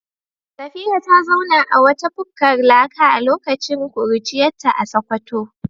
Safira ta zauna a wata bukkar laka a lokacin kuruciyarta a Sakkwato.